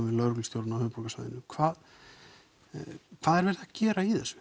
við lögreglustjórann á höfuðborgarsvæðinu hvað hvað er verið að gera í þessu